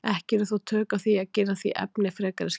Ekki eru þó tök á því að gera því efni frekari skil hér.